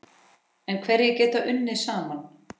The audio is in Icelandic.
En hverjir geta unnið saman?